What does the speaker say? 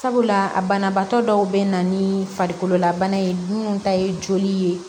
Sabula a banabaatɔ dɔw bɛ na ni farikolola bana ye minnu ta ye joli ye